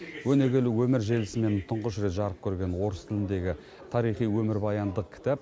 өнегелі өмір желісімен тұңғыш рет жарық көрген орыс тіліндегі тарихи өмірбаяндық кітап